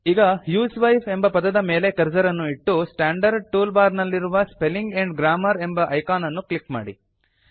ಈಗ ಹ್ಯೂಸ್ವೈಫ್ ಎಂಬ ಪದದ ಮೇಲೆ ಕರ್ಸರ್ ಅನ್ನು ಇಟ್ಟು ಸ್ಟಾಂಡರ್ಡ್ ಟೂಲ್ ಬಾರ್ ನಲ್ಲಿರುವ ಸ್ಪೆಲ್ಲಿಂಗ್ ಆಂಡ್ ಗ್ರಾಮರ್ ಎಂಬ ಐಕಾನ್ ಅನ್ನು ಕ್ಲಿಕ್ ಮಾಡಿ